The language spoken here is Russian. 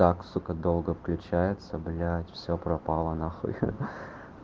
так сука долго включается блять все пропало нахуй